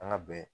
An ka bɛn